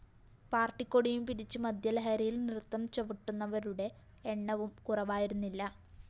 പാര്‍ട്ടിക്കൊടിയും പിടിച്ചു മദ്യലഹരിയില്‍ നൃത്തം ചവിട്ടുന്നവരുടെ എണ്ണവും കുറവായിരുന്നില്ല